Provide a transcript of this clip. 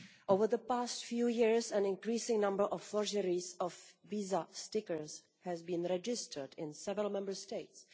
Over the past few years, an increasing number of forgeries of visa stickers has been registered in several Member States.